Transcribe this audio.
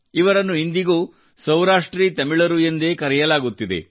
ಇವರನ್ನು ಇಂದಿಗೂ ಸೌರಾಷ್ಟ್ರೀ ತಮಿಳರು ಎಂದೇ ಕರೆಯಲಾಗುತ್ತಿದೆ